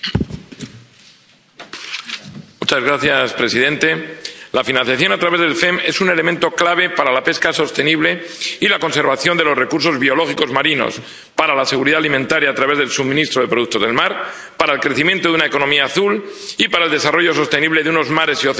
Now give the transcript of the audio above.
Señor presidente, la financiación a través del FEMP es un elemento clave para la pesca sostenible y la conservación de los recursos biológicos marinos, para la seguridad alimentaria a través del suministro de productos del mar, para el crecimiento de una economía azul y para el desarrollo sostenible de unos mares y océanos saludables, seguros y limpios.